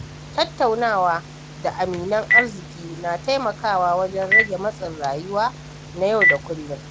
Tattaunawa da aminan arziƙi na taimakawa wajen rage matsin rayuwa na yau da kullum.